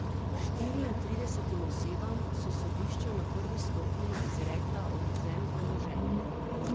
Štiriintridesetim osebam so sodišča na prvi stopnji izrekla odvzem premoženja.